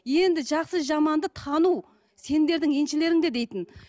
енді жақсы жаманды тану сендердің еншілеріңде дейтін